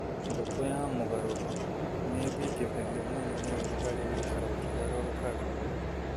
Ngũkũ ya mũgarũro nĩ ĩthingithagio mũno nĩ ũrugarĩ gũikara rũkĩgarũrũkaga.